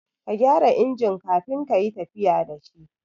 Ka gyara injin kafin kayi tafiya da shi